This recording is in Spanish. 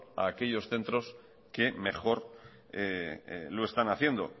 a aquellos centros que mejor lo están haciendo